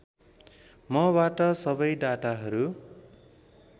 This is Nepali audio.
मबाट सबै डाटाहरू